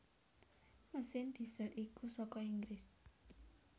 Mesin diesel iku saka Inggris